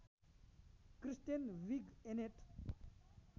Kristen Wiig‍ Annette